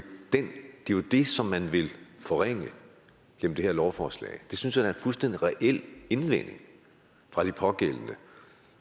jo det som man vil forringe gennem det her lovforslag det synes er en fuldstændig reel indvending fra de pågældende